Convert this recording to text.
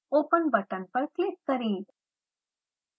open button पर click करें